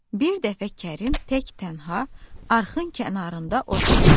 Bir dəfə Kərim tək-tənha arxın kənarında oturmuşdu.